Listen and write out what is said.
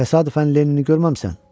Təsadüfən Lenini görməmisən?